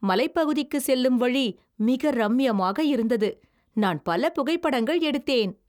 மலைப்பகுதிக்கு செல்லும் வழி மிக ரம்மியமாக இருந்தது, நான் பல புகைப்படங்கள் எடுத்தேன்.